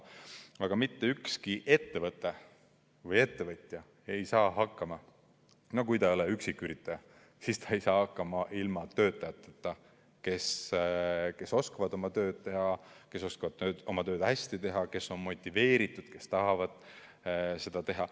Aga mitte ükski ettevõte või ettevõtja ei saa hakkama, kui ta ei ole üksiküritaja, ilma töötajateta, kes oskavad oma tööd teha, kes oskavad oma tööd hästi teha, kes on motiveeritud, kes tahavad seda tööd teha.